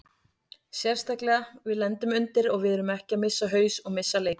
Sérstaklega við lendum undir og við erum ekki að missa haus og missa leikinn.